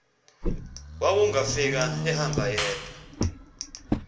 wawungafika ehamba yedwa